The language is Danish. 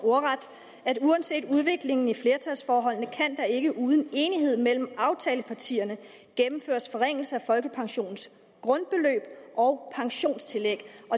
uanset udviklingen i flertalsforholdene kan der ikke uden enighed mellem aftalepartierne gennemføres forringelser af folkepensionens grundbeløb og pensionstillæg